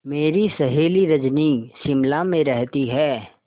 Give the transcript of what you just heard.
मेरी सहेली रजनी शिमला में रहती है